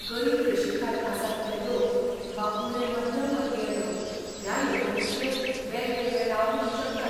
गरीबी रेशेखाल आसात ते लोक, वा उणे मध्यमवर्गीय लोक ह्या येवजणींचे वेगवेगळे लाव घेवंक शकतात.